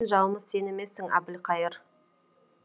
біздің жауымыз сен емессің әбілқайыр